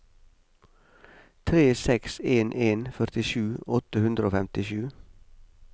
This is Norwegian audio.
tre seks en en førtisju åtte hundre og femtisju